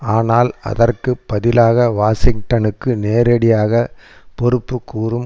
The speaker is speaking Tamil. ஆனால் அதற்கு பதிலாக வாஷிங்டனுக்கு நேரடியாக பொறுப்புக்கூறும்